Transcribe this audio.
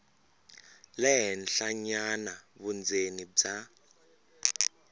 le henhlanyana vundzeni bya